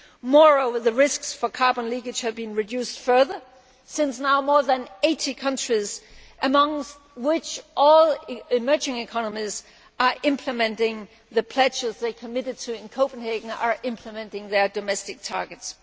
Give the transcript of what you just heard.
Moreover, the risks for carbon leakage have been reduced further, since now more than 80 countries, amongst which all emerging economies, are implementing the pledges they committed to in Copenhagen and are implementing their domestic targets.